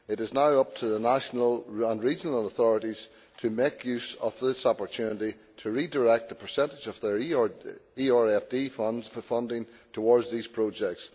It is now up to the national and regional authorities to make use of this opportunity to redirect the percentage of their ERDF funds for funding towards these projects.